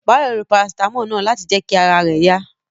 Báyọ̀ lo Parasítámọ̀ náà láti jẹ kí ara rẹ̀ yá